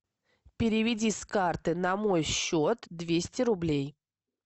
переведи с карты на мой счет двести рублей